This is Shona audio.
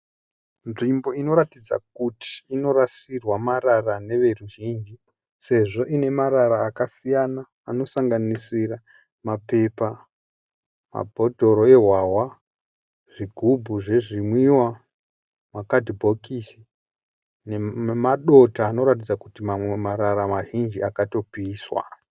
Nzvimbo inoratidza kuti inorasirwa marara neveruzhinji sezvo ine marara akasiyana anosanganisira mapepa, mabhodhoro ehwahwa, zvigubhu zvezvimwiwa, makadhibhokisi nemadota anoratidza kuti mamwe marara mazhinji akatopiswa.